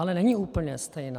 Ale není úplně stejná.